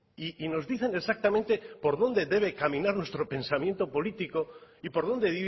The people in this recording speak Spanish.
y nos dicen exactamente por dónde debe caminar nuestro pensamiento político y por dónde